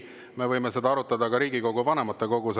Me võime seda arutada ka Riigikogu vanematekogus.